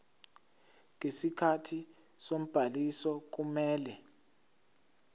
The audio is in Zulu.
ngesikhathi sobhaliso kumele